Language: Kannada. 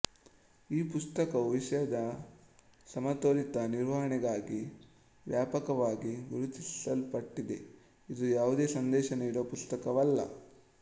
ಈ ಪುಸ್ತಕವು ವಿಷಯದ ಸಮತೋಲಿತ ನಿರ್ವಹಣೆಗಾಗಿ ವ್ಯಾಪಕವಾಗಿ ಗುರುತಿಸಲ್ಪಟ್ಟಿದೆ ಇದು ಯಾವುದೇ ಸಂದೇಶ ನೀಡುವ ಪುಸ್ತಕವಲ್ಲ